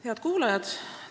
Head kuulajad!